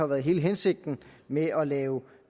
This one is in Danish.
været hele hensigten med at lave